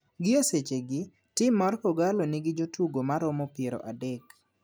Gi e seche gi tim mar kogallo ni gi jotugo maromo piero adek .